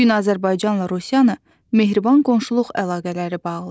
Bu gün Azərbaycanla Rusiyanı mehriban qonşuluq əlaqələri bağlayır.